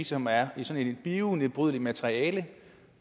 som er i sådan et bionedbrydeligt materiale